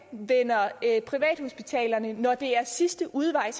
er at privathospitalerne når det er sidste udvej